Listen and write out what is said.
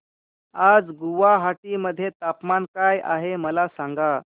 आज गुवाहाटी मध्ये तापमान काय आहे मला सांगा